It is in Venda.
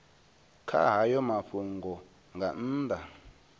kha hayo mafhungo nga nnḓa